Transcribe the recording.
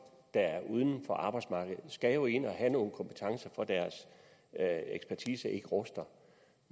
der er uden for arbejdsmarkedet skal jo ind og have nogle kompetencer for at deres ekspertise ikke ruster